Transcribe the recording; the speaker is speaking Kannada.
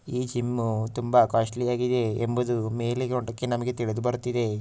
ಈ ಜಿಮ್ಮು ತುಂಬಾ ಕಾಸ್ಟ್ಲಿ ಆಗಿದೆ ಎಂಬುದು ಮೇಲೆ ನೋಟಕ್ಕೆ ನಮಗೆ ತಿಳಿದು ಬರುತ್ತಿದೆ --